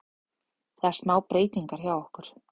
Það er smá breytingar hjá okkur.